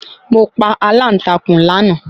Mo pa aláǹtakùn láàná